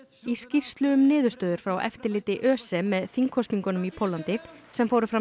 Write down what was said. í skýrslu um niðurstöður frá eftirliti ÖSE með þingkosningunum í Póllandi sem fóru fram